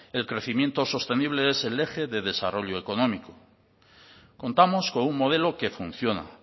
el crecimiento sostenible es el eje de desarrollo económico contamos con un modelo que funciona